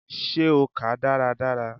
Ṣe o kàá dáradára?